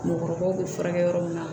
Mɔgɔkɔrɔbaw be furakɛ yɔrɔ min na